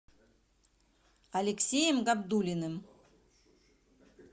алексеем габдуллиным